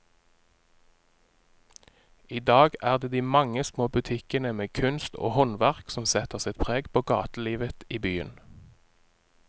I dag er det de mange små butikkene med kunst og håndverk som setter sitt preg på gatelivet i byen.